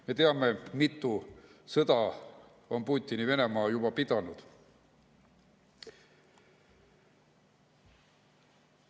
Me teame, mitu sõda on Putini Venemaa juba pidanud.